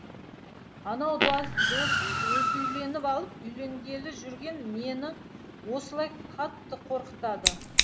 анау досым өзі үйленіп алып үйленгелі жүрген мені осылай қатты қорқытады